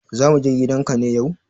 Za mu je gidan ka ne yau?